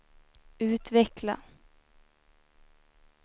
utveckla